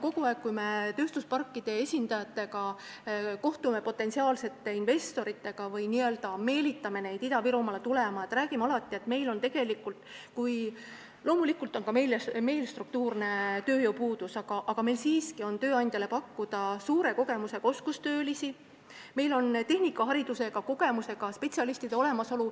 Kogu aeg, kui me kohtume tööstusparkide esindajatega või meelitame potentsiaalseid investoreid Ida-Virumaale tulema, me räägime, et loomulikult on ka meil struktuurne tööjõupuudus, aga meil on siiski tööandjale pakkuda suure kogemusega oskustöölisi, meil on tehnikaharidusega kogenud spetsialiste.